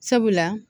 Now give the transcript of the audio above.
Sabula